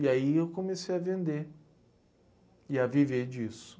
E aí eu comecei a vender e a viver disso.